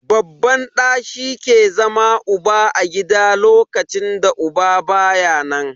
Babban ɗa shi ke zama uba a gida a lokacin da uba baya nan.